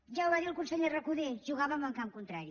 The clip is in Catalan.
ja ho va dir el conseller recoder jugàvem en camp contrari